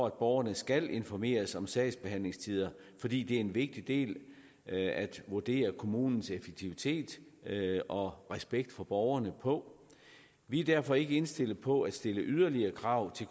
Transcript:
at borgerne skal informeres om sagsbehandlingstider fordi det er en vigtig del at at vurdere kommunens effektivitet og respekt for borgerne på vi er derfor ikke indstillet på at stille yderligere krav